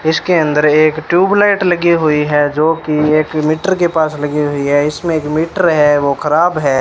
इसके अंदर एक ट्यूबलाइट लगी हुई है जो की एक मीटर के पास लगी हुई है इसमें एक मीटर है वो खराब है।